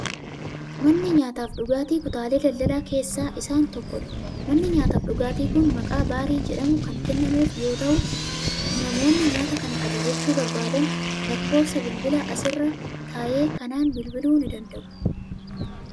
Manni nyaataa fi dhugaatii kutaalee daldalaa keessaa isaan tokkodha. Manni nyaataa fi dhugaatiin kun maqaa Baarii jedhamu kan kennamee fi yoo ta'u, namoonni nyaata kana ajajachuu barbaadan lakkoofsa bilbilaa asirra taa'e kanaan bilbiluu ni danda'u.